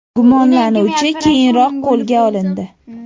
Gumonlanuvchi keyinroq qo‘lga olindi.